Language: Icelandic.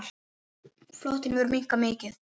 Flotinn hefur minnkað mikið.